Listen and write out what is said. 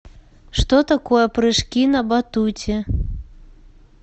что такое прыжки на батуте